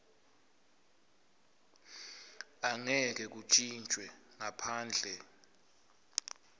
angeke kuntjintjwe ngaphandle